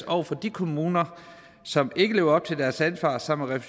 over for de kommuner som ikke lever op til deres ansvar sammen med